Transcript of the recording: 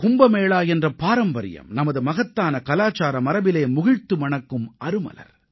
கும்பமேளா என்ற பாரம்பரியம் நமது மகத்தான கலாச்சார மரபிலே முகிழ்த்து மணக்கும் அருமலர்